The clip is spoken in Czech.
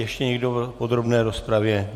Ještě někdo v podrobné rozpravě?